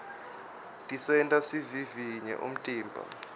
tisenta sivivinye umtimba